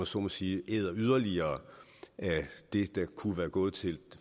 så må sige yderligere af det der kunne være gået til